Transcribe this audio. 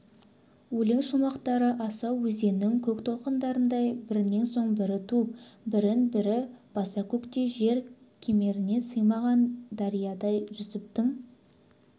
өлең шумақтары асау өзеннің көк толқынындай бірінен соң бірі туып бірін бірі баса-көктей жер кемеріне сыймаған дариядай жүсіптің